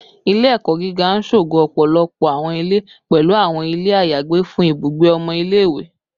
Ile-ẹkọ giga n ṣogo ọpọlọpọ awọn ile, pẹlu awọn ile ayagbe fun ibugbe ọmọ ile-iwe